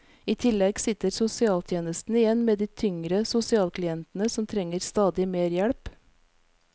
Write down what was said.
I tillegg sitter sosialtjenesten igjen med de tyngre sosialklientene som trenger stadig mer hjelp.